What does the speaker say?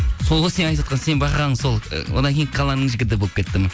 сол ғой сенің айтып отырған сенің байқағаның сол ы одан кейін қаланың жігіті болып кеттім